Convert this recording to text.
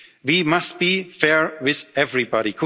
to underline this. We must be